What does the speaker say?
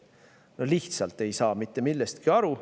No lihtsalt ei saa mitte millestki aru.